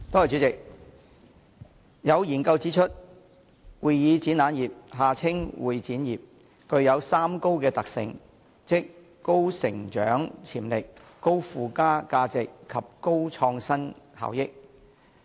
主席，有研究指出，會議展覽業具有三高的特性，即高成長潛力、高附加價值及高創新效益。